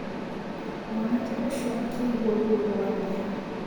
Mwanake ũcio akĩigua ruo rwanyiha.